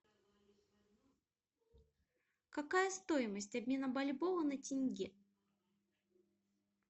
какая стоимость обмена бальбоа на тенге